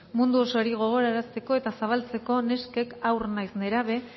mundu osoari gogorarazteko eta zabaltzeko neskek haur naiz nerabe